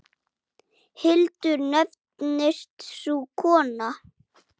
Hildur nefnist sú kona.